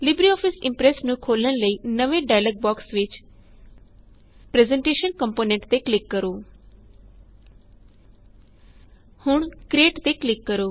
LibreOffice Impress ਨੂੰ ਖੋਲਣ ਲਈ ਨਵੇਂ ਡਾਇਲੋਗ ਬੋਕਸ ਵਿਚ ਪ੍ਰੈਜ਼ੈਂਟੇਸ਼ਨ ਕੰਪੋਨੈਂਟ ਤੇ ਕਲਿਕ ਕਰੋ ਹੁਣ ਕ੍ਰਿਏਟ ਤੇ ਕਲਿਕ ਕਰੋ